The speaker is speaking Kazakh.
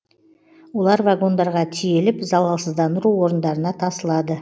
олар вагондарға тиеліп залалсыздандыру орындарына тасылады